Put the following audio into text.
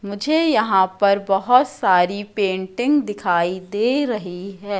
मुझे यहां पर बहोत सारी पेंटिंग दिखाई दे रही है।